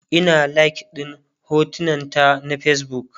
Ina like ɗin hotunan ta na Facebook